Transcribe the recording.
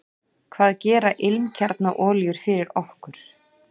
Hvað gera ilmkjarnaolíur fyrir okkur?